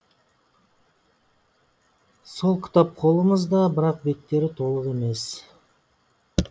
сол кітап қолымызда бірақ беттері толық емес